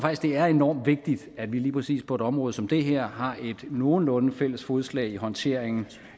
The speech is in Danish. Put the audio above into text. at det er enormt vigtigt at vi lige præcis på et område som det her har et nogenlunde fælles fodslag i håndteringen